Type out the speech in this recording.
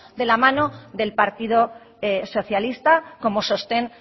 de la mano del partido socialista como sostén